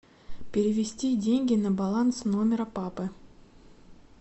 перевести деньги на баланс номера папы